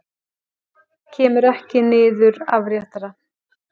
Kemur ekki niður afréttara.